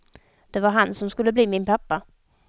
Det var han som skulle bli min pappa.